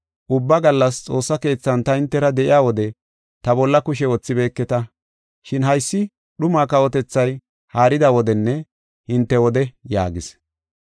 Ubba gallas xoossa keethan ta hintera de7iya wode ta bolla kushe wothibeeketa. Shin haysi dhuma kawotethay haarida wodenne hinte wode” yaagis.